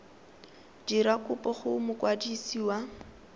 dira kopo go mokwadisi wa